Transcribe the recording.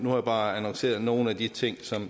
jeg bare annonceret nogle af de ting